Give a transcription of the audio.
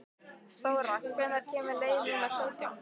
Þóra, hvenær kemur leið númer sautján?